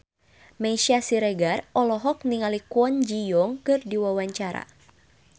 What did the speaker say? Meisya Siregar olohok ningali Kwon Ji Yong keur diwawancara